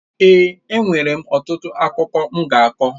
Èè, enwere m ọtụtụ akụkọ m ga-akọ.